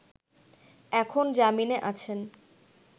এখন জামিনে আছেন